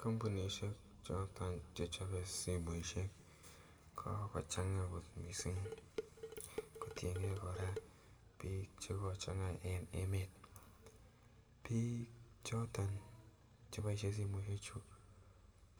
Kampunisiek choto che chope simoisiek kochang kot mising kotienge kora, biik che kochanga en emet. Biik choto cheboisien simoisiechu,